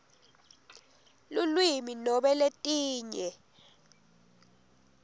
lulwimi nobe letinye